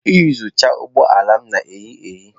Iyuzucha ụgbọ ala m na ehi ehi.